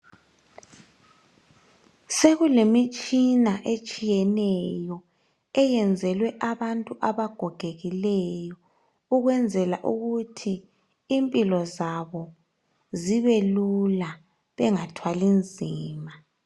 Sekulemitshina etshiyeneyo eyenzelwe abantu abagogekileyo ukwenzela ukuthi impilo zabo zibe lula bengathwali nzima